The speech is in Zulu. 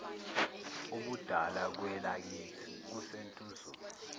ubudala kwelakithi kusentuzuma